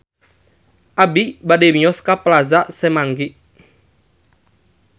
Abi bade mios ka Plaza Semanggi